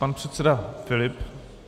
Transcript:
Pan předseda Filip.